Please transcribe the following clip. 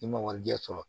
I ma warijɛ sɔrɔ